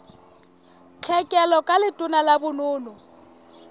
tlhekelo ka letona la bonono